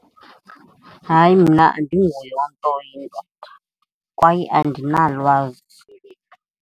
Hayi, mna andinguye umntu oyindoda kwaye andinalwazi.